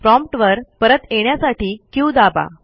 prompt वर परत येण्यासाठी क्यू दाबा